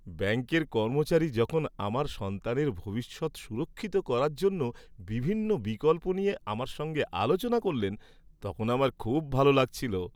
ব্যাঙ্কের কর্মচারী যখন আমার সন্তানের ভবিষ্যৎ সুরক্ষিত করার জন্য বিভিন্ন বিকল্প নিয়ে আমার সঙ্গে আলোচনা করলেন, তখন আমার খুব ভাল লাগছিল।